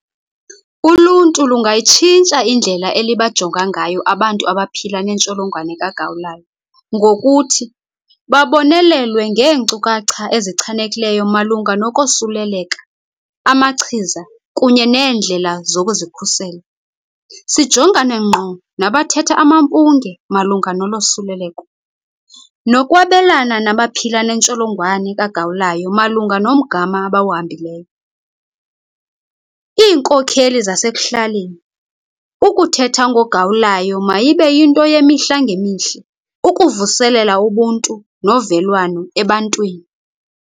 Uluntu lungayitshintsha indlela elibajonga ngayo abantu abaphila nentsholongwane kagawulayo ngokuthi babonelelwe ngeenkcukacha ezichanekileyo malunga nokosuleleka, amachiza kunye neendlela zokuzikhusela, sijongane ngqo nabathetha amampunge malunga nolosuleleko. Nokwabelana nabaphila nentsholongwane kagawulayo malunga nomgama abawuhambileyo. Iinkokheli sazekuhlaleni, ukuthetha ngogawulayo mayibe yinto yemihla ngemihla ukuvuselela ubuntu novelwano ebantwini.